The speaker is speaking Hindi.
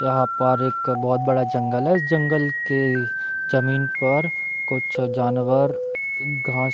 यहाँ पर एक बहुत बड़ा जंगल है इस जंगल के जमीन पर कुछ जानवर घास --